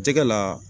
Jɛgɛ la